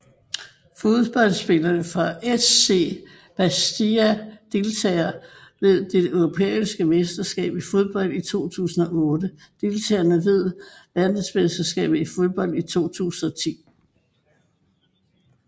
Fodboldspillere fra SC Bastia Deltagere ved det europæiske mesterskab i fodbold 2008 Deltagere ved verdensmesterskabet i fodbold 2010